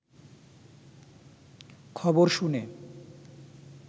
খবর শুনে